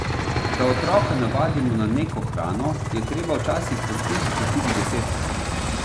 Da otroka navadimo na neko hrano, je treba včasih poskusiti tudi desetkrat.